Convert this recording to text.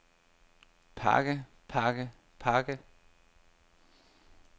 pakke pakke pakke